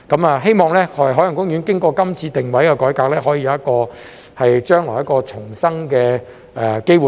我希望海洋公園經過今次的定位改革，將來可以有一個重生的機會。